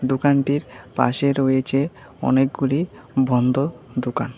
দোকানটির পাশে রয়েছে অনেকগুলি বন্ধ দোকান।